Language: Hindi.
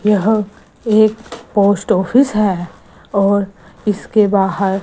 यह एक पोस्ट ऑफिस है और इसके बाहर--